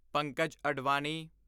Pankaj Advani